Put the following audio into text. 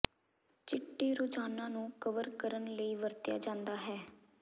ਚਿੱਟੇ ਰੋਜਾਨਾ ਨੂੰ ਕਵਰ ਕਰਨ ਲਈ ਵਰਤਿਆ ਜਾਦਾ ਹੈ